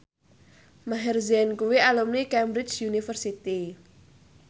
Maher Zein kuwi alumni Cambridge University